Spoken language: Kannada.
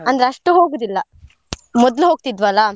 ಅಷ್ಟು ಹೋಗುದಿಲ್ಲ ಮೊದ್ಲು ಹೋಗ್ತಿದ್ವಲ್ಲಾ?